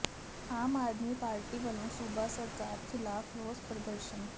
ਆਮ Aadmi party ਵਲੋਂ ਸੂਬਾ ਸਰਕਾਰ ਖਿਲਾਫ਼ ਰੋਸ ਪ੍ਰਦਰਸ਼ਨ